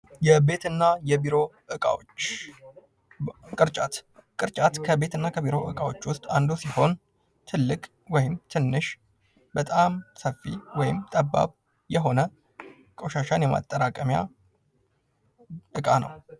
የቤት እና የቢሮ እቃዎች፦ -ቅርጫት ከቤት እና ከቢሮ እቃዎች ውስጥ አንዱ ሲሆን ትልቅ ወይም ትንሽ በጣም ሰፊ ወይም ጠባብ የሆነ ቆሻሻን የማጠራቀሚያ እቃ ነው።